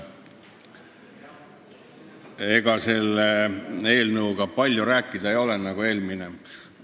Ega sellest eelnõust palju rääkida ei ole nagu eelmisestki.